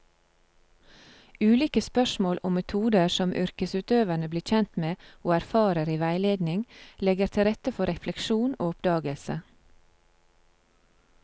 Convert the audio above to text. Ulike spørsmål og metoder som yrkesutøverne blir kjent med og erfarer i veiledning, legger til rette for refleksjon og oppdagelse.